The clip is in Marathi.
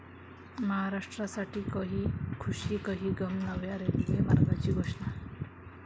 महाराष्ट्रासाठी 'कही खुशी कही गम',नव्या रेल्वे मार्गाची घोषणा